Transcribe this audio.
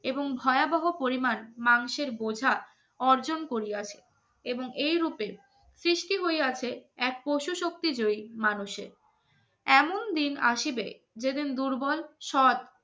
এবং ভয়াবহ পরিমাণ মাংসের বোঝা অর্জন করিয়াছে এবং এইরূপে সৃষ্টি হয়ে আছে এক পশু শক্তি জয়ী মানুষের এমন দিন আসিবে যেদিন দুর্বল সৎ